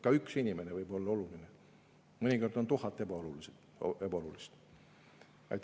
Ka üks inimene võib olla oluline, aga mõnikord on tuhat ebaolulised.